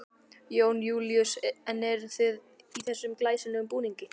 Jón Júlíus: En þið eruð í þessum glæsilegum búningum?